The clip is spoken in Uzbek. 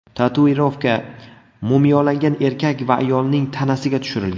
Tatuirovka mumiyolangan erkak va ayolning tanasiga tushirilgan.